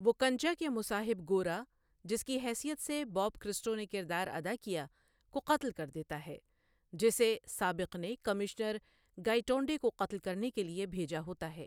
وہ کنچا کے مصاحب گورا، جس کی حیثیت سے باب کرسٹو نے کردار ادا کیا، کو قتل کر دیتا ہے، جسے سابق نے کمشنر گائیٹونڈے کو قتل کرنے کے لیے بھیجا ہوتا ہے۔